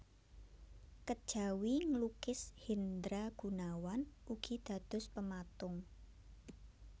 Kejawi nglukis Hendra Gunawan ugi dados pematung